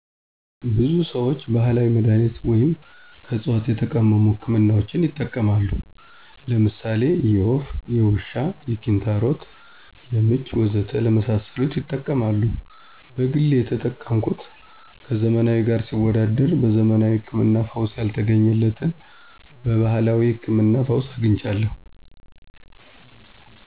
ብዙ ሰዎች ባህላዊ መድሃኒቶችን ወይም ከዕፅዋት የተቀመሙ ህክምናዎችን ይጠቀማሉ። ለምሳሌ የወፍ፣ የውሻ፣ የኪንታሮት፣ የምች፣ ወዘተ ለመሳሰሉት ይጠቀማሉ። በግሌ የተጠቀምኩት ከዘመናዊ ጋር ሲወዳደር በዘመናዊ ህክምና ፈውስ ያልተገኘለትን በባህላዊው ህክምና ፈውስ አግኝቻለሁ።